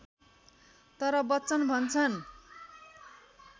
तर बच्चन भन्छन्